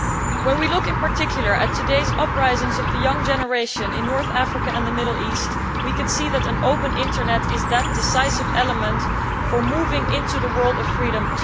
When we look, in particular, at today's uprisings of the young generation in North Africa and the Middle East, we can see that, today, an open Internet is that decisive element for moving into the world of freedom.